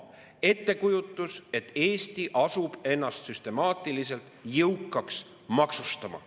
Ettekujutus on, et Eesti asub ennast süstemaatiliselt jõukaks maksustama.